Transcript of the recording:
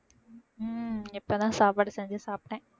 ஹம் இப்பதான் சாப்பாடு செஞ்சு சாப்பிட்டேன்